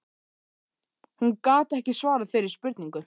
Hún gat ekki svarað þeirri spurningu.